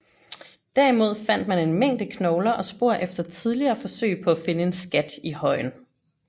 Derimod fandt man en mængde knogler og spor efter tidligere forsøg på at finde en skat i højen